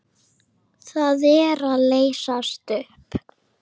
Það er að leysast upp.